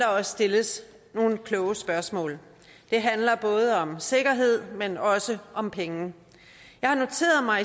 også stilles nogle kloge spørgsmål det handler både om sikkerhed men også om penge jeg har noteret mig